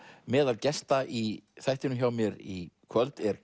meðal gesta í þættinum hjá mér í kvöld er